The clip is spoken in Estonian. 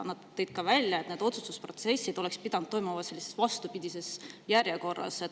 Nad tõid ka välja, et otsustused oleks pidanud kogu protsessis toimuma vastupidises järjekorras.